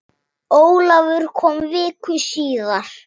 Ólafur kom viku síðar.